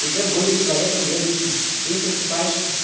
уже более человеком ведающим ты просыпаешься